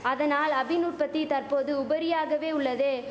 அதனால் அபின் உற்பத்தி தற்போது உபரியாகவே உள்ளது